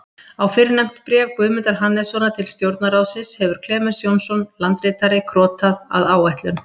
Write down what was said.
Á fyrrnefnt bréf Guðmundar Hannessonar til Stjórnarráðsins hefur Klemens Jónsson, landritari, krotað, að áætlun